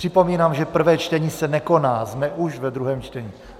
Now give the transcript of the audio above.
Připomínám, že prvé čtení se nekoná, jsme už ve druhém čtení.